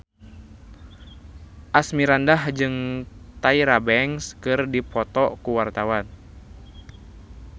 Asmirandah jeung Tyra Banks keur dipoto ku wartawan